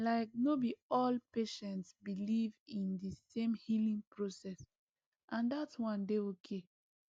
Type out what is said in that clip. like no be all patients believe in the same healing process and that one dey okay